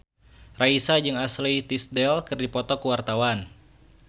Raisa jeung Ashley Tisdale keur dipoto ku wartawan